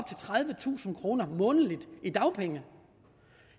tredivetusind kroner månedligt i dagpenge